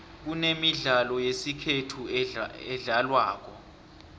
kunemidlalo yesikhethu edlalwako